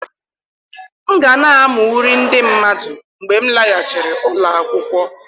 M ga na-amụ uri ndị mmadụ mgbe m laghachiri ụlọ akwụkwọ.